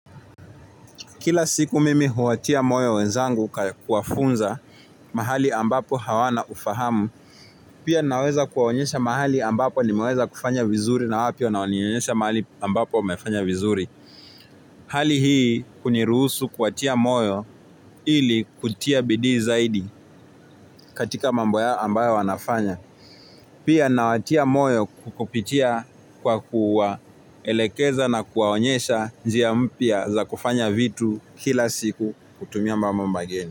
Kila siku mimi huwatia moyo wenzangu kwa kuwafunza mahali ambapo hawana ufahamu, pia naweza kuwaonyesha mahali ambapo nimeweza kufanya vizuri na wao pia wananionyesha mahali ambapo wamefanya vizuri. Hali hii huniruhusu kuwatia moyo ili kutia bidii zaidi katika mambo yao ambayo wanafanya. Pia nawatia moyo kupitia kwa kuwaelekeza na kuwaonyesha njia mpya za kufanya vitu kila siku kutumia mambo mageni.